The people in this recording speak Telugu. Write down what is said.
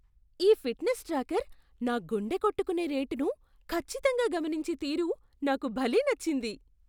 ఈ ఫిట్నెస్ ట్రాకర్ నా గుండె కొట్టుకునే రేటును ఖచ్చితంగా గమనించే తీరు నాకు భలే నచ్చింది.